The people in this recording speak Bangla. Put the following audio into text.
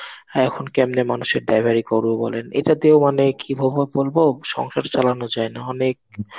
এখন কেমনে মানুষের ড্রাইভারি করবো বলেন. এটা দিয়েও মানে কিভাবে বলবো সংসার চালানো যায় না. অনেক